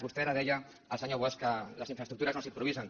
vostè ara deia el senyor bosch que les infraestructures no s’improvisen